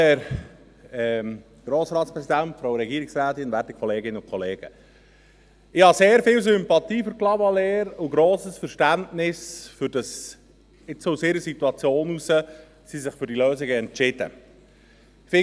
Ich habe sehr viel Sympathie für Clavaleyres und grosses Verständnis dafür, dass sie sich aus ihrer Situation heraus jetzt für diese Lösung entschieden haben.